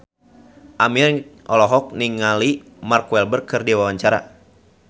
Aming olohok ningali Mark Walberg keur diwawancara